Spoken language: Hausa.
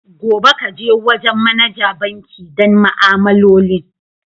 Gobe, ka je wajen managa banki don ma'amalolin.